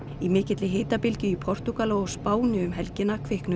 í mikilli hitabylgju í Portúgal og á Spáni um helgina kviknuðu